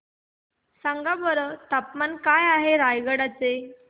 सांगा बरं तापमान काय आहे रायगडा चे